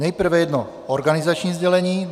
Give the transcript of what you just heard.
Nejprve jedno organizační sdělení.